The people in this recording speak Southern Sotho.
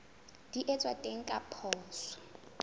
di etswang teng ka poso